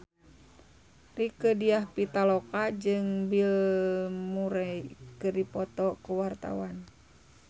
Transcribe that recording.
Rieke Diah Pitaloka jeung Bill Murray keur dipoto ku wartawan